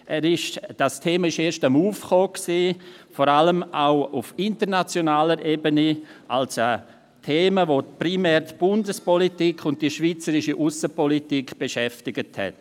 Das Thema kam erst langsam auf, vor allem auch auf internationaler Ebene, als Thema, welches vor allem die Bundespolitik und die schweizerische Aussenpolitik beschäftigt hat.